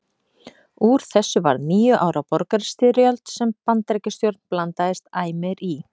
Úr þessu varð níu ára borgarastyrjöld sem Bandaríkjastjórn blandaðist æ meir í.